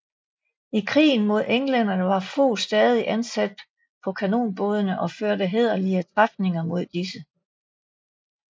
I krigen mod englænderne var Fog stadig ansat på kanonbådene og førte hæderlige træfninger mod disse